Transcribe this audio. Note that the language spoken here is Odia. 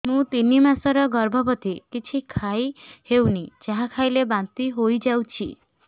ମୁଁ ତିନି ମାସର ଗର୍ଭବତୀ କିଛି ଖାଇ ହେଉନି ଯାହା ଖାଇଲେ ବାନ୍ତି ହୋଇଯାଉଛି